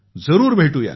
जरूर भेटूया